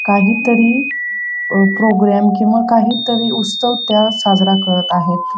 काहीतरी प्रोग्राम किंवा काहीतरी उस्तव त्या साजरा करत आहेत.